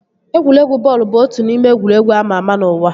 Egwuregwu bọọlụ bụ otu n'ime egwuregwu ama ama n'ụwa